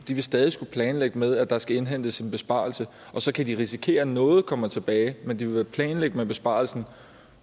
de vil stadig skulle planlægge med at der skal indhentes en besparelse og så kan de risikere at noget kommer tilbage men de vil planlægge med besparelsen